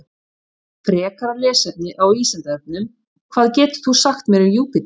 Frekara lesefni á Vísindavefnum: Hvað getur þú sagt mér um Júpíter?